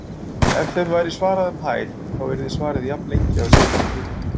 Ef þeim væri svarað um hæl yrði svarið jafnlengi á leiðinni til okkar.